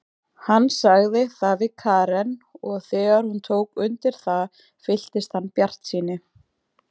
Hann sagði það við Karen og þegar hún tók undir það fylltist hann bjartsýni.